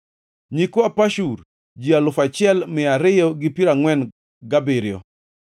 nyikwa Pashur, ji alufu achiel mia ariyo gi piero angʼwen gabiriyo (1,247),